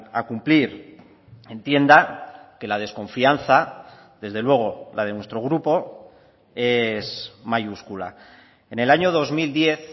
a cumplir entienda que la desconfianza desde luego la de nuestro grupo es mayúscula en el año dos mil diez